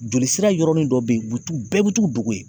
Joli sira yɔrɔnin dɔ be ye u be t'u bɛɛ be t'u dogo ye.